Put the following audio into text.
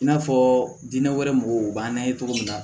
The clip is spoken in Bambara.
I n'a fɔ diinɛ wɛrɛ mɔgɔw b'an na ye cogo min na